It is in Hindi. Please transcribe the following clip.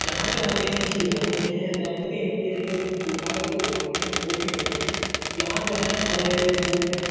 जहाँ जो होते झूले होते हैं। लकड़ी होती है जो बिठा कर जो घुमाते हैं वो भी होते हैं। यहाँ जो है बड़े बूढ़े --